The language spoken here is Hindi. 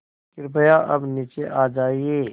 कृपया अब नीचे आ जाइये